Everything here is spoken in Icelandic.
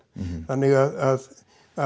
þannig að